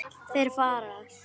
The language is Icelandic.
Þeir fara.